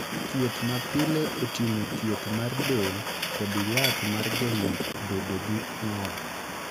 Thieth ma pile oting'o thieth mar del kod yath mar geng'o bedo gi ng'ol.